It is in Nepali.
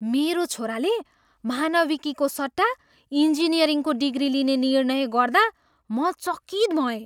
मेरो छोराले मानविकीको सट्टा इन्जिनियरिङको डिग्री लिने निर्णय गर्दा म चकित भएँ।